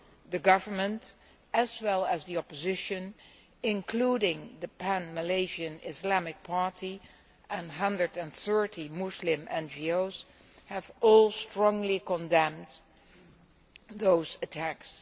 The government, as well as the opposition, including the Pan Malaysian Islamic Party and 130 Muslim NGOs, have all strongly condemned those attacks.